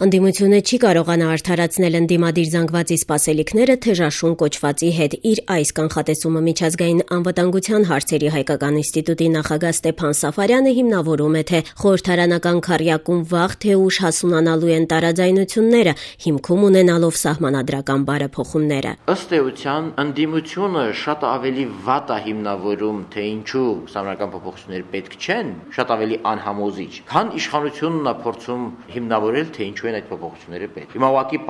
Ընդդիմությունը չի կարողանա արդարացնել ընդդիմադիր զանգվածի սպասելիքները «թեժ աշուն» կոչվածի հետ: Իր այս կանխատեսումը Միջազգային անվտանգության հարցերի հայկական ինստիտուտի նախագահ Ստեփան հիմնավորում է, թե խորհրդարանական քառյակում վաղ, թե ուշ հասունանալու են տարաձայությունները՝ հիմքում ունենալով սահմանադրական բարեփոխումները: «Ըստ էության ընդդիմությունը շատ ավելի վատ է հիմնավորում, թե ինչու Սահմանադրական փոփոխությունները պետք չեն, շատ ավելի անհամոզիչ, քան իշխանությունն է փորձում հիմնավորել, թե ինչու են այդ փոփոխությունները պետք: Հիմա ուղղակի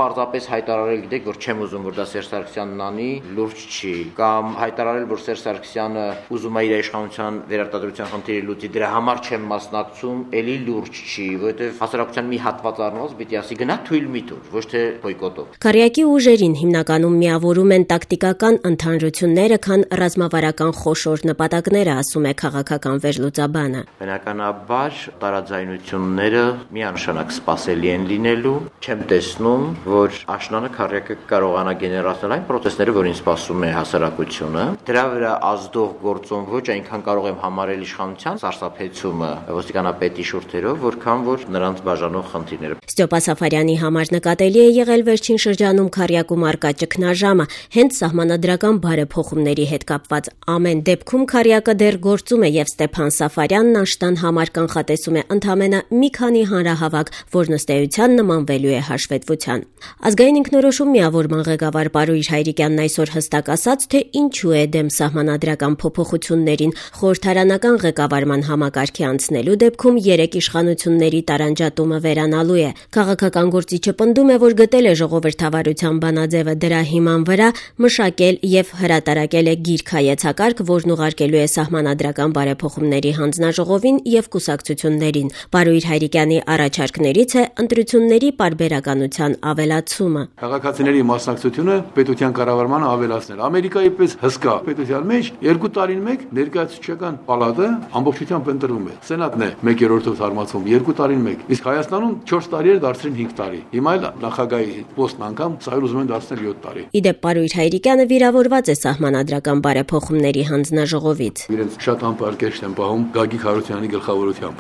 հայտարարել, որ չեմ ուզում, որ դա Սերժ Սարգսյանն անի՝ լուրջ չի, կամ հայտարարել, որ Սերժ Սարգսյանը ուզում է իր իշխանության վերարտադրության խնդիրը լուծի դրա համար չեմ մասնակցում՝ էլի լուրջ չի, որովհետեւ հասարակության մի հատվածն առնվազն պետք է ասի. գնա թույլ մի տուր, ոչ թե բոյկոտով»: Քառյակի ուժերին հիմնականում միավորում են տակտիկական ընդհանրությունները, քան ռազմավարական խոշոր նպատակները, ասում է քաղաքական վերլուծաբանը: «Բնականաբար, տարաձայնությունները միանշանակ սպասելի են լինելու: Չեմ տեսնում, որ աշնանը քառյակը կկարողանա գեներացնել այն պրոցեսները, որին սպասում է հասարակությունը: Դրա վրա ազդող գործող ոչ այնքան կարող եմ համարել իշխանության սարսափեցումը ոստիկանապետի շուրթերով, որքան որ նրանց բաժանող խնդիրները»: Ստյոպա Սաֆարյանի համար նկատելի է եղել վերջին շրջանում քառյակում առկա ճգնաժամը՝ հենց սահմանադրական բարեփոխումների հետ կապված: Ամեն դեպքում քառյակը դեռ գործում է եւ Ստյոպա Սաֆարյանն աշնան համար կանխատեսում է ընդամենը մի քանի հանրահավաք, որն ըստ էության նմանվելու է հաշվետվության: Ազգային Ինքնորոշում միավորման ղեկավար Պարույր Հայրիկյանն այսօր հստակ ասաց, թե ինչու է դեմ սահմանադրական փոփոխություններին՝ խորհրդարանական ղեկավարման համակարգի անցնելու դեպքում երեք իշխանությունների տարանջատումը վերանալու է: Քաղաքական գործիչը պնդում է, որ գտել է ժողովրդավարության բանաձեւը, դրա հիման վրա մշակել եւ հրատարակել է գիրք-հայեցակարգ, որն ուղարկելու է սահմանադրական բարեփոխումների հանձնաժողովին եւ կուսակցություններին: Պարույր Հայրիկյանի առաջարկներից է՝ ընտրությունների պարբերականության ավելացումը: «Քաղաքացիների մասնակցությունը պետության կառավարմանը պետք է ավելացնել: Ամերիկայի պես հսկա պետության մեջ երկու տարին մեկ Ներկայացուցչական պալատը ամբողջությամբ ընտրվում է: Սենատը 1/3-ով թարմացվում է երկու տարին մեկ: Իսկ Հայաստանում չորս տարի էր դարձրել են 5 տարի, հիմա էլ նախագահի պոստն անգամ ուզում են դարձնել 7 տարի»: Ի դեպ՝ Պարույր Հայրիկյանը վիրավորված է Սահմանադրական բարեփոխումների հանձնաժողովից: «Իրենց շատ անպարկեշտ են պահում Գագիկ Հարությունյանի գլխավորությամբ: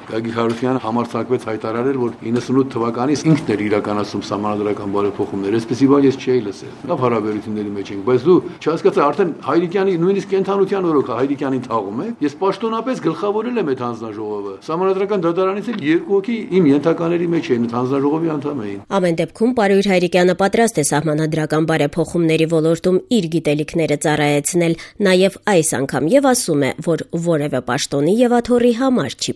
Նա համարձակվեց հայտարարել, որ 98 թվականին ինքն էր իրականացնում Սահմանադրական բարեփոխումները: Այսպիսի բան ես չէի լսել: Մենք լավ հարաբերությունների մեջ ենք, բայց չհասկացա, նույնիսկ Հայրիկյանի կենդանության օրոք Հայրիկյանին թաղո՞ւմ եք: Ես պաշտոնապես գլխավորել եմ այդ հանձնաժողովը, ՍԴ-ից էլ երկու հոգի իմ ենթակաների մեջ էին՝ այդ հանձնաժողովի անդամ էին»: Ամեն դեպքում Պարույր Հայրիկյանը պատրաստ է Սահմանադրական բարեփոխումների ոլորտում իր գիտելիքները ծառայեցնել նաեւ այս անգամ եւ ասում է, որ որեւէ պաշտոնի եւ աթոռի համար չի